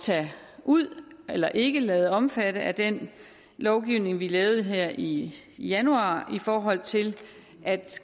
tage ud eller ikke lade omfatte af den lovgivning vi lavede her i januar i forhold til at